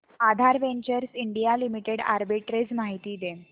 आधार ventures India limited arbitrage माहिती दे